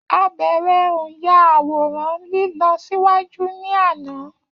A bẹrẹ o nya àwòrán lílọ ṣíwájú ní àná